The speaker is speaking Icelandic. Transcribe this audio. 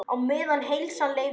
Á meðan heilsan leyfði.